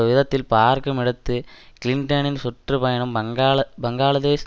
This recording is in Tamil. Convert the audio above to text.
விதத்தில் பார்க்குமிடத்து கிளின்டனின் சுற்று பயணம் பங்களா பங்களாதேஷ்